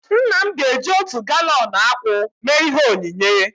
Nna m ga-eji otu galọn akwụ mee ihe onyinye